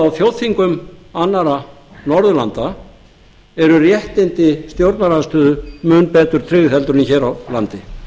að á þjóðþingum annarra norðurlanda eru réttindi stjórnarandstöðu mun betur tryggð en hér á landi